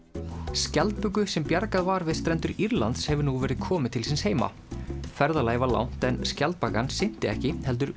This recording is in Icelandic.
skjaldböku sem bjargað var við strendur Írlands hefur nú verið komið til síns heima ferðalagið var langt en skjaldbakan synti ekki heldur